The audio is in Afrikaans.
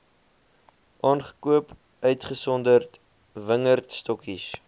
aangekoop uitgesonderd wingerdstokkies